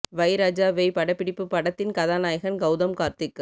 வை ராஜா வை படப்பிடிப்பு படத்தின் கதாநாயகன் கெளதம் கார்த்திக்